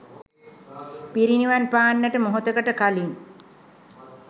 පිරිනිවන් පාන්නට මොහොතකට කලින්